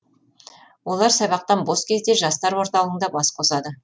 олар сабақтан бос кезде жастар орталығында бас қосады